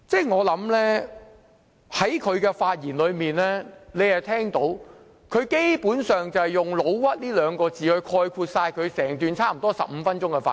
我想在他的發言中，大家可以聽到，基本上是可用上"老屈"兩個來概括他整段差不多15分鐘發言。